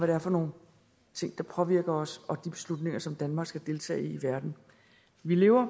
er for nogle ting der påvirker os og om de beslutninger som danmark skal deltage i i verden vi lever